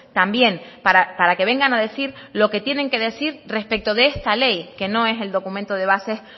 también para que vengan a decir lo que tienen que decir respecto de esta ley que no es el documento de base